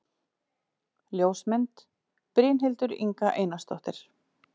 Ljósmynd: Brynhildur Inga Einarsdóttir